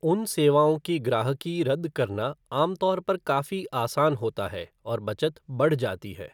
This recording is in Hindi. उन सेवाओं की ग्राहकी रद्द करना आम तौर पर काफी आसान होता है और बचत बढ़ जाती है।